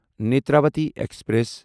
Netravati express